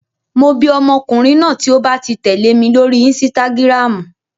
Mo bi ọmọkùnrin náà tí ó ba ti tẹ̀lé mi lórí insitagiramu.